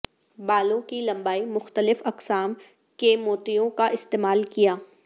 بالوں کی لمبائی مختلف اقسام کے موتیوں کا استعمال کیا